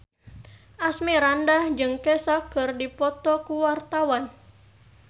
Asmirandah jeung Kesha keur dipoto ku wartawan